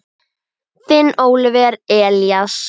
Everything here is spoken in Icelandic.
Þinn Óliver Elís.